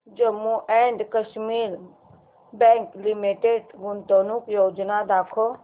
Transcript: Jammu and Kashmir bank limited गुंतवणूक योजना दाखव